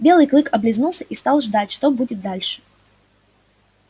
белый клык облизнулся и стал ждать что будет дальше